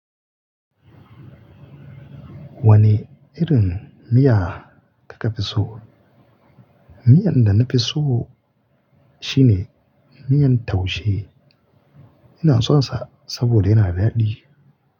Wane irin miya kika fi so? Miyar da na fi so shine miyan taushe. Ina son sa saboda yana da daɗi.